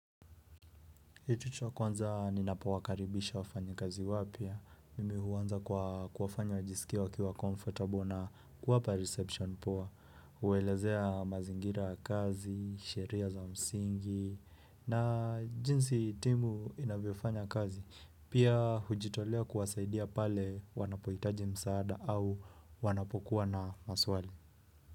Hitu chwa kwanza ninapawakaribisha wafanya kazi wapya, mimi huwanza kwa kwafanya wajisikia wakiwa comfortable na kuwapa reception poa, uwelezea mazingira kazi, sheria za msingi, na jinsi timu inavyofanya kazi, pia hujitolea kuwasaidia pale wanapohitaji msaada au wanapokuwa na maswali.